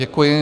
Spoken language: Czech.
Děkuji.